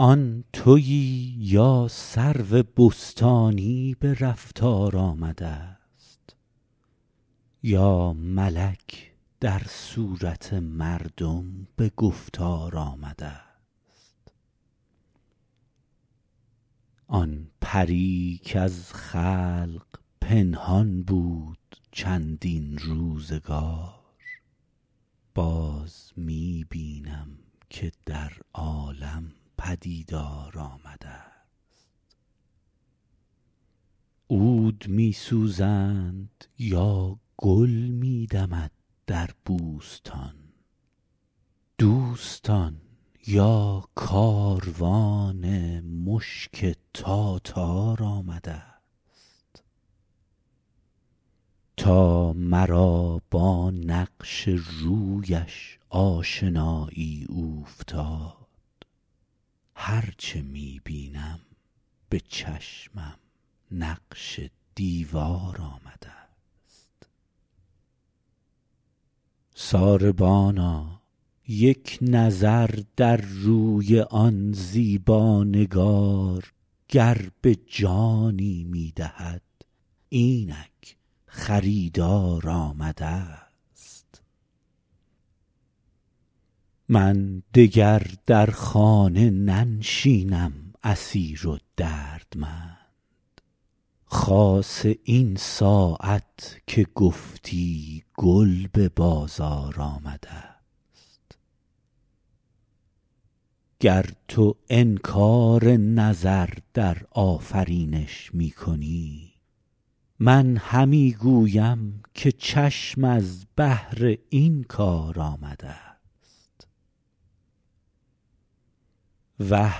آن تویی یا سرو بستانی به رفتار آمده ست یا ملک در صورت مردم به گفتار آمده ست آن پری کز خلق پنهان بود چندین روزگار باز می بینم که در عالم پدیدار آمده ست عود می سوزند یا گل می دمد در بوستان دوستان یا کاروان مشک تاتار آمده ست تا مرا با نقش رویش آشنایی اوفتاد هر چه می بینم به چشمم نقش دیوار آمده ست ساربانا یک نظر در روی آن زیبا نگار گر به جانی می دهد اینک خریدار آمده ست من دگر در خانه ننشینم اسیر و دردمند خاصه این ساعت که گفتی گل به بازار آمده ست گر تو انکار نظر در آفرینش می کنی من همی گویم که چشم از بهر این کار آمده ست وه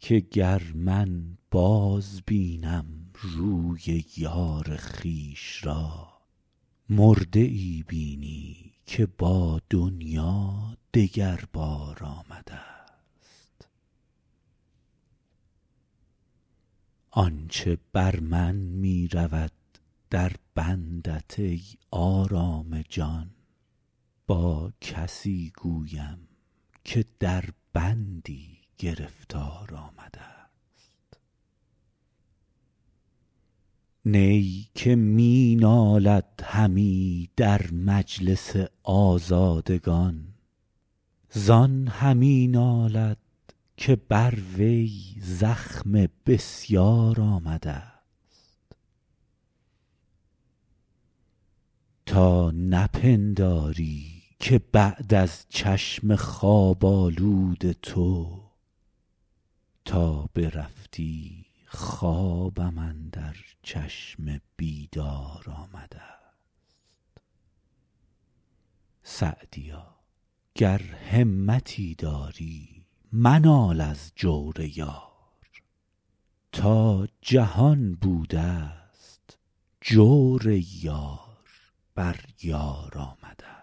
که گر من بازبینم روی یار خویش را مرده ای بینی که با دنیا دگر بار آمده ست آن چه بر من می رود در بندت ای آرام جان با کسی گویم که در بندی گرفتار آمده ست نی که می نالد همی در مجلس آزادگان زان همی نالد که بر وی زخم بسیار آمده ست تا نپنداری که بعد از چشم خواب آلود تو تا برفتی خوابم اندر چشم بیدار آمده ست سعدیا گر همتی داری منال از جور یار تا جهان بوده ست جور یار بر یار آمده ست